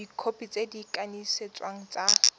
dikhopi tse di kanisitsweng tsa